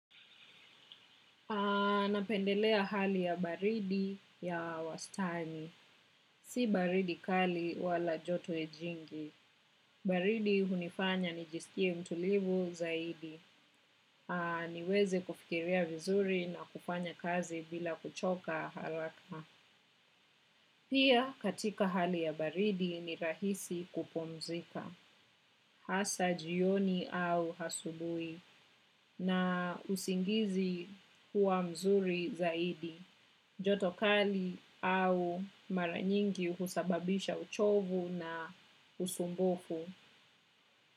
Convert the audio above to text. Napendelea hali ya baridi ya wastani. Si baridi kali wala joto jingi. Baridi hunifanya nijiskie mtulivu zaidi. Niweze kufikiria vizuri na kufanya kazi bila kuchoka haraka. Pia katika hali ya baridi ni rahisi kupumzika. Hasa jioni au asubuhi na usingizi huwa mzuri zaidi. Joto kali au mara nyingi husababisha uchovu na usumbufu.